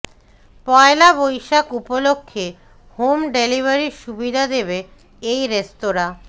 পয়লা বৈশাখ উপলক্ষে হোম ডেলিভারির সুবিধা দেবে এই রেস্তোরাঁ